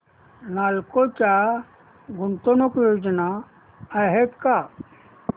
नालको च्या गुंतवणूक योजना आहेत का